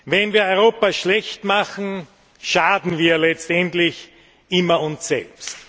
Wenn wir Europa schlecht machen, schaden wir letztendlich immer uns selbst.